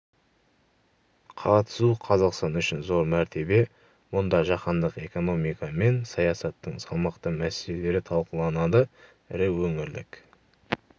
қатысу қазақстан үшін зор мәртебе мұнда жаһандық экономика мен саясаттың салмақты мәселелері талқыланады ірі өңірлік